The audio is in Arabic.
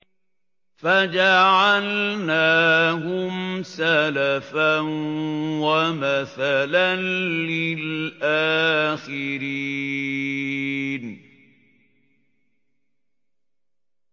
فَجَعَلْنَاهُمْ سَلَفًا وَمَثَلًا لِّلْآخِرِينَ